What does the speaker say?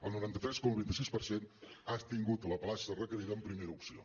el noranta tres coma vint sis per cent ha tingut la plaça requerida en primera opció